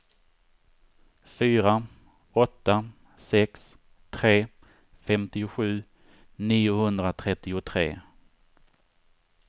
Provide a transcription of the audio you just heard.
fyra åtta sex tre femtiosju niohundratrettiotre